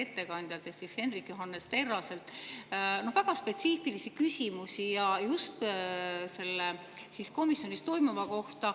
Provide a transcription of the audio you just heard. ettekandjalt Hendrik Johannes Terraselt konkreetselt väga spetsiifilisi küsimusi just komisjonis toimunu kohta.